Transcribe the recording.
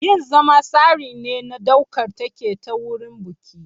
Yin zama tsari ne na ɗaukar take ta wurin biki.